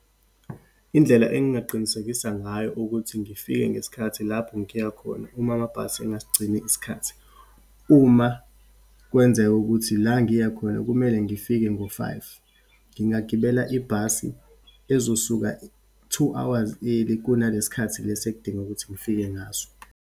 Indlela engingaqinisekisa ngayo ukuthi ngifike ngesikhathi lapho ngiya khona, uma amabhasi engasigcini isikhathi. Uma kwenzeka ukuthi la ngiya khona kumele ngifike ngo-five, ngingagibela ibhasi ezosuka two hours early, kunalesikhathi lesi ekudinga ukuthi ngifike ngaso.